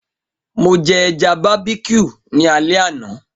Mo jẹ ẹja barbeque ni alẹ ana.